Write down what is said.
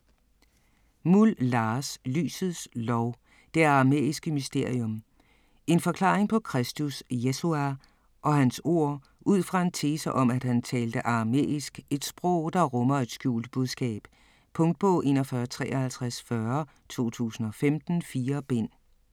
Muhl, Lars: Lysets Lov: det aramæiske mysterium En forklaring på Kristus (Yeshua) og hans ord ud fra en tese om at han talte aramæisk, et sprog der rummer et skjult budskab. Punktbog 415340 2015. 4 bind.